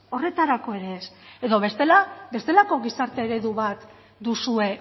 horretarako ere ez edo bestela bestelako gizarte eredu bat duzue